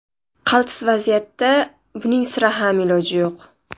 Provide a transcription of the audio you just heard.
Qaltis vaziyatda buning sira ham iloji yo‘q.